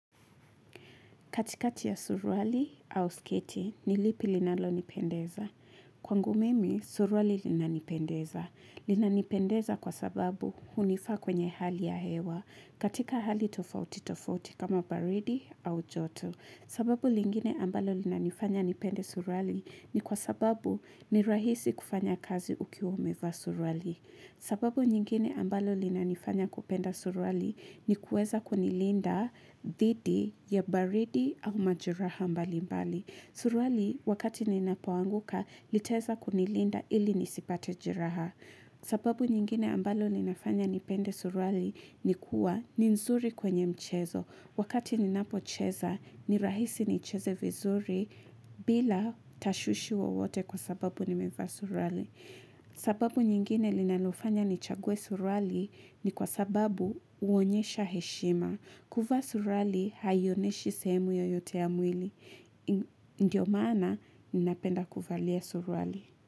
Katikati ya surwali au sketi, nilipi linalo nipendeza? Kwangu mimi, surwali lina nipendeza. Lina nipendeza kwa sababu hunifa kwenye hali ya hewa. Katika hali tofauti tofauti kama baridi au joto. Sababu lingine ambalo lina nifanya nipende surwali ni kwa sababu ni rahisi kufanya kazi ukiwa umevaa surwali. Sababu nyingine ambalo lina nifanya kupenda surwali ni kueza kunilinda dhidi ya baridi au majeraha mbali mbali. Surwali wakati ninapoanguka liteza kunilinda ili nisipate jeraha. Sababu nyingine ambalo linafanya nipende surwali ni kuwa ninzuri kwenye mchezo. Wakati ninapocheza ni rahisi ni cheze vizuri bila tashushi wa wote kwa sababu ni mefa surwali. Sababu nyingine linalofanya nichagwe surwali ni kwa sababu huonyesha heshima kuva surwali hayoneshi sehemu yoyote ya mwili Ndiyo mana ninapenda kuvalia surwali.